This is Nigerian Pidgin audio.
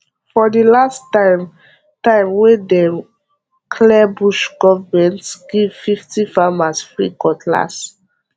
for the last time time wey dem clear bush government give fifty farmers free cutlass